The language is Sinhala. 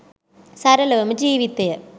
සරලවම ජීවිතය